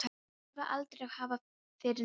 Þeir þurfa aldrei að hafa fyrir neinu.